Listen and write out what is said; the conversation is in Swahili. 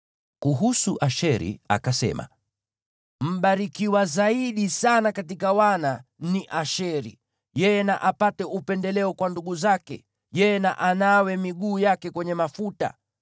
Kuhusu Asheri akasema: “Aliyebarikiwa zaidi sana katika wana ni Asheri; yeye na apate upendeleo kwa ndugu zake, yeye na anawe miguu yake kwenye mafuta.